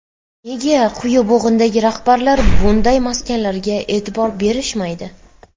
Nega quyi bo‘g‘indagi rahbarlar bunday maskanlarga e’tibor berishmaydi?